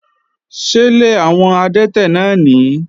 Ṣélé àwọn adẹ́tẹ̀ náà nìí?